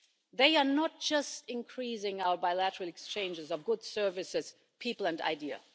They are not just increasing our bilateral exchanges of goods, services, people and ideas.